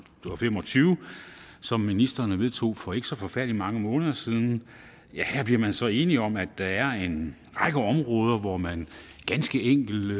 fem og tyve som ministrene vedtog for ikke så forfærdelig mange måneder siden her bliver man så enige om at der er en række områder hvor man ganske enkelt